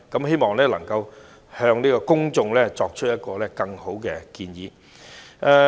希望政府能夠向公眾提出更好的建議。